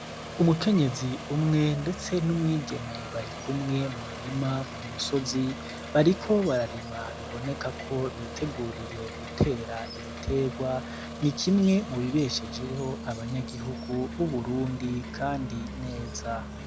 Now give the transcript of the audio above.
Umukenyezi umwe, ndetse n'umwigeme bari kumwe mu murima ku musozi bariko bararima biboneka ko biteguriye gutera ibiterwa ni kimwe mubibeshejeho abanyagihugu b'uburundi, kandi neza.